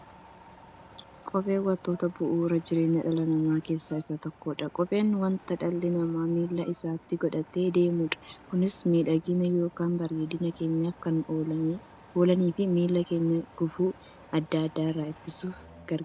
Kopheen wantoota bu'uura jireenya dhala namaa keessaa isa tokkodha. Kopheen wanta dhalli namaa miilla isaatti godhatee deemudha. Kunis miidhagani yookiin bareedina keenyaf kan ooluufi miilla keenya gufuu adda addaa irraa ittisuuf gargaara.